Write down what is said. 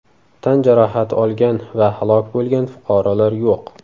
Tan jarohati olgan va halok bo‘lgan fuqarolar yo‘q.